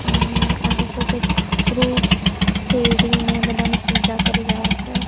અ આ લોકો કઈક ફ્રુટ્સ શેરડી ને બધાની પૂજા કરી રહ્યા છે.